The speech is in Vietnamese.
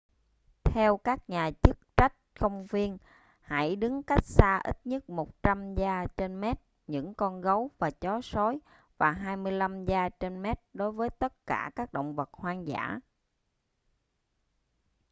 theo các nhà chức trách công viên hãy đứng cách xa ít nhất 100 yard/mét những con gấu và chó sói và 25 yard/mét đối với tất cả các động vật hoang dã!